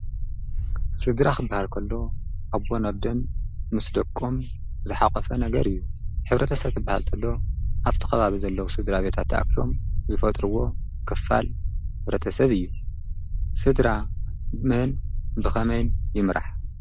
ስድራ ኽበሃል እንተሎ ኣቦን ምስ ደቆም ዝሓቐፈ ነገር እዩ። ኅብረተሰብ ዝብሃል እንተሎ ኣብቲ ኸባብ ዘለዉ ስድራ ቤታ ተኣቢም ዝፈጥርዎ ክፋል ሕብረተሰብ እዩ። ስድራ ብመን ክመይን ይምራሕ?